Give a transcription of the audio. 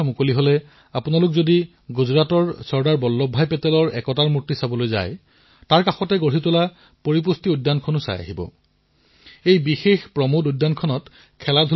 বন্ধুসকল যদি আপোনালোকে গুজৰাটৰ চৰ্দাৰ বল্লভভাই পেটেলৰ ষ্টেচু অব্ ইউনিটীলৈ যোৱাৰ সুবিধা লাভ কৰিছে আৰু কভিডৰ পিছত যেতিয়া ইয়াক মুকলি কৰা হব তেতিয়া তাত এক অনন্য পুষ্টি উদ্যান দেখিবলৈ পাব